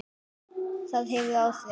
Það hefur áhrif.